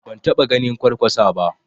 Ban taɓa ganin Kwarkwasa ba